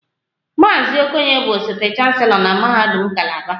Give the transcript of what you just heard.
Maazị Okoye bụ osote chancelo na mahadum kalaba